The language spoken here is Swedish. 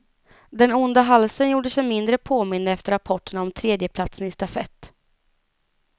Den onda halsen gjorde sig mindre påmind efter rapporterna om tredjeplatsen i stafett.